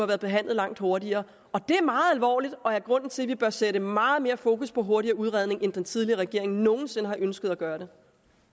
været behandlet langt hurtigere det er meget alvorligt og det er grunden til at vi bør sætte meget mere fokus på hurtigere udredning end den tidligere regering nogensinde har ønsket at gøre